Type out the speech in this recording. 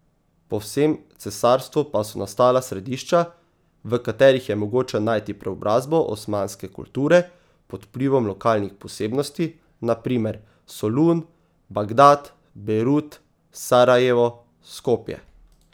Po vsem cesarstvu pa so nastala središča, v katerih je mogoče najti preobrazbo osmanske kulture pod vplivom lokalnih posebnosti, na primer Solun, Bagdad, Bejrut, Sarajevo, Skopje ...